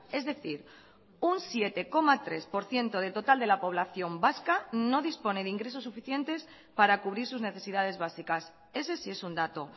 es decir un siete coma tres por ciento del total de la población vasca no dispone de ingresos suficientes para cubrir sus necesidades básicas ese sí es un dato